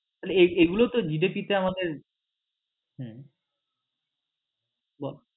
এগুলো তো GDP তে আমাদের হম বল